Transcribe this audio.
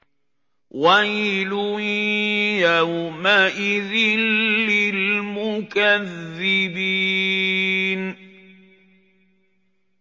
وَيْلٌ يَوْمَئِذٍ لِّلْمُكَذِّبِينَ